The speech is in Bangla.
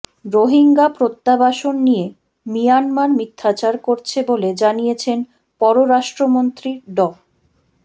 রোহিঙ্গা প্রত্যাবাসন নিয়ে মিয়ানমার মিথ্যাচার করছে বলে জানিয়েছেন পররাষ্ট্রমন্ত্রী ড